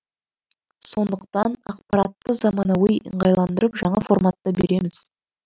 сондықтан ақпаратты заманауи ыңғайландырып жаңа форматта береміз